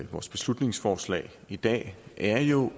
vores beslutningsforslag i dag er jo